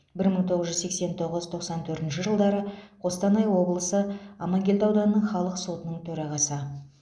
бір мың тоғыз жүз сексен тоғыз тоқсан төртінші жылдары қостанай облысы амангелді ауданының халық сотының төрағасы